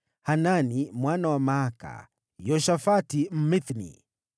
Hanani mwana wa Maaka, Yoshafati Mmithni,